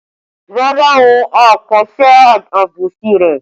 Rárá o, a kò ṣe àbòsí rẹ